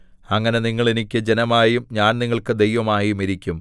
അങ്ങനെ നിങ്ങൾ എനിക്ക് ജനമായും ഞാൻ നിങ്ങൾക്ക് ദൈവമായും ഇരിക്കും